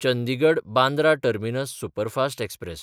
Chandigarh-Bandra terminus superfast express